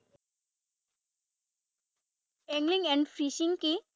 Angling and fishing কি?